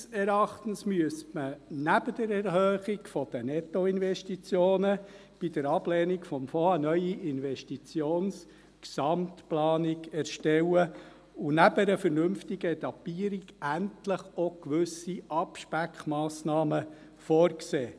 Unseres Erachtens müsste man neben der Erhöhung der Nettoinvestitionen bei der Ablehnung des Fonds eine neue Investitionsgesamtplanung erstellen und neben einer vernünftigen Etappierung endlich auch gewisse Abspeckmassnahmen vorsehen.